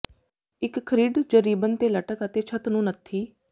ਇੱਕ ਥਰਿੱਡ ਜ ਰਿਬਨ ਤੇ ਲਟਕ ਅਤੇ ਛੱਤ ਨੂੰ ਨੱਥੀ